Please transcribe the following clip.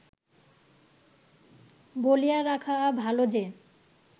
বলিয়া রাখা ভাল যে